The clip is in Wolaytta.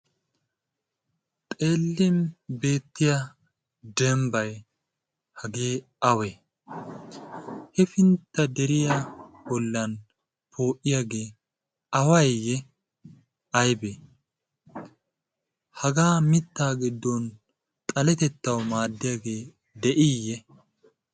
xeellin beettiya dembbay hagee awe? hefintta deriya bollan poo'iyaage awayiyye aybbe? haga mitta giddon xaletettaw maaddiyaage de'iiyye?